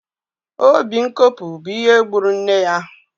Obi nkopu bụ ihe gburu nne ya